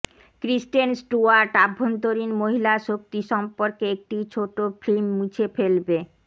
ক্রিস্টেন Stewart অভ্যন্তরীণ মহিলা শক্তি সম্পর্কে একটি ছোট ফিল্ম মুছে ফেলবে